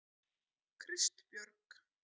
Kristbjörg